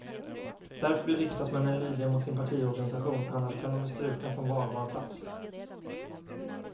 Därför blir riksdagsmännen lydiga mot sin partiorganisation, annars kan de bli strukna från valbar plats.